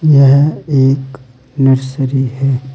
यह एक नर्सरी है।